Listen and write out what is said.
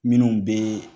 Minnu bɛ